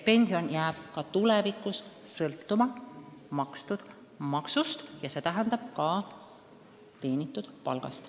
Pension jääb ka tulevikus sõltuma makstud maksust ehk siis ka teenitud palgast.